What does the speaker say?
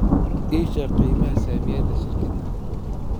ii sheeg qiimaha saamiyada shirkaddan